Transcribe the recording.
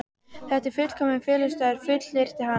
Þetta er fullkominn felustaður, fullyrti hann.